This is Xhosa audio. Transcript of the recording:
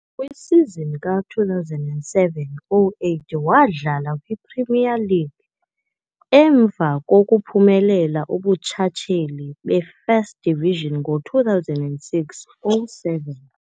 Kwisizini ka-2007-08 wadlala kwiPremier League, emva kokuphumelela ubuntshatsheli be-First Division ngo-2006-07.